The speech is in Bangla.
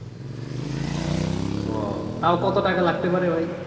ওহ তাও কত টাকা লাগতে পারে ভাই?